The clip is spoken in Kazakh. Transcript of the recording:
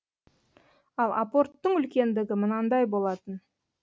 ал апорттың үлкендігі мынандай болатын